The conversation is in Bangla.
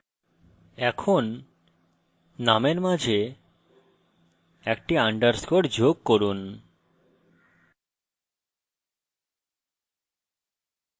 এখন নামের মাঝে একটি underscore যোগ করুন